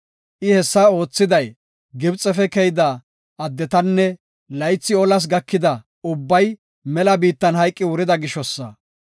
I hessa oothiday, Gibxefe keyda addetan laythi olas gakida ubbay mela biittan hayqi wurida gishosa.